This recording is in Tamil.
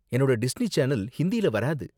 என்னோட டிஸ்னி சேனல் ஹிந்தியில வராது.